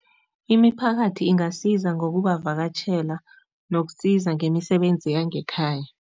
Imiphakathi ingasiza ngokubavakatjhela nokusiza ngemisebenzi yangekhaya.